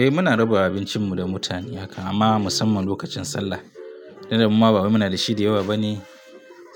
Eh muna rabawa abincinmu wa mutane haka amma musamman lokacin Sallah. Irin muma bawai muna na da shi da yawa bane